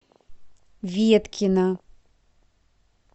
веткина